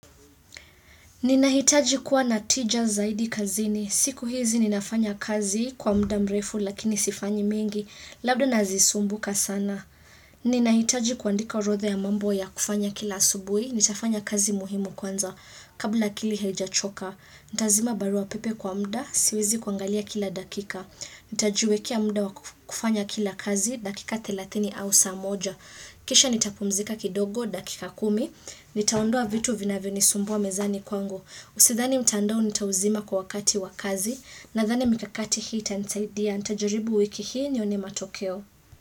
Ninahitaji kuwa na tija zaidi kazini. Siku hizi ninafanya kazi kwa muda mrefu lakini sifanyi mengi. Labda nazisumbuka sana. Ninahitaji kuandika orodha ya mambo ya kufanya kila asubuhi. Nitafanya kazi muhimu kwanza kabla akili haijachoka. Nitazima barua pepe kwa muda, siwezi kuangalia kila dakika. Nitajiwekea muda wa kufanya kila kazi dakika 30 au saa moja. Kisha nitapumzika kidogo dakika kumi, nitaondoa vitu vinavyonisumbua mezani kwangu, usidhani mtandao nitauzima kwa wakati wa kazi. Nadhani mikakati hii itanisaidia, nitajaribu wiki hii nione matokeo.